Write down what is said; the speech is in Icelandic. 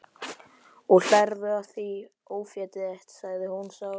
Og hlærðu að því ófétið þitt? sagði hún sár.